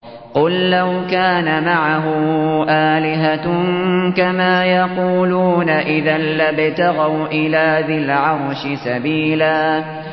قُل لَّوْ كَانَ مَعَهُ آلِهَةٌ كَمَا يَقُولُونَ إِذًا لَّابْتَغَوْا إِلَىٰ ذِي الْعَرْشِ سَبِيلًا